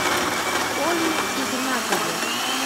коле игнатове